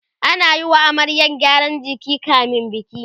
ana Yi wa amaryar gyaran jiki kamin biki